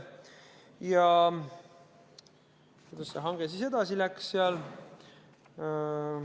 Ja kuidas see hange siis edasi läks?